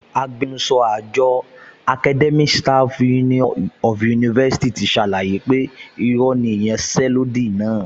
Agbẹnusọ àjọ ASUU ti ṣàlàyé pé irọ́ ni ìyanṣẹ́lódì náà